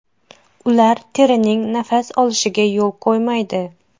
Ular terining nafas olishiga yo‘l qo‘ymaydi.